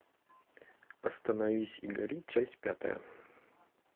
остановись и гори часть пятая